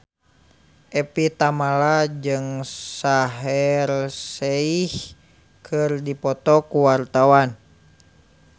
Evie Tamala jeung Shaheer Sheikh keur dipoto ku wartawan